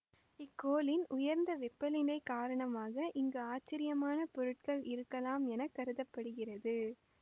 இக்கோளின் உயர்ந்த வெப்பநிலை காரணமாக இங்கு ஆச்சரியமான பொருட்கள் இருக்கலாம் என கருத படுகிறது